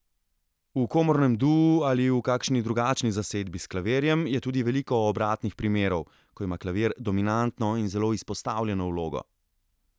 V komornem duu ali v kakšni drugačni zasedbi s klavirjem je tudi veliko obratnih primerov, ko ima klavir dominantno in zelo izpostavljeno vlogo.